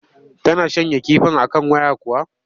Tana shanya kifin a kan waya kuwa?